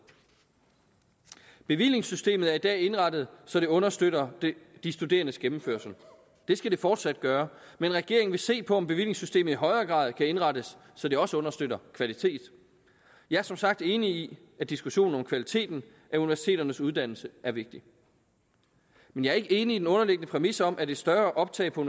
bevillingssystemet er i dag er indrettet så det understøtter de studerendes gennemførelse det skal det fortsat gøre men regeringen vil se på om bevillingssystemet i højere grad kan indrettes så det også understøtter kvalitet jeg er som sagt enig i at diskussionen om kvaliteten af universiteternes uddannelse er vigtig men jeg er ikke enig i den underliggende præmis om at et større optag på